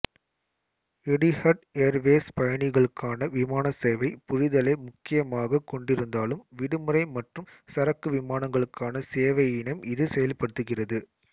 Etihad Airways பயணிகளுக்கான விமானச் சேவை புரிதலை முக்கியமாகக் கொண்டிருந்தாலும் விடுமுறை மற்றும் சரக்கு விமானங்களுக்கான சேவையினையும் இது செயல்படுத்துகிறது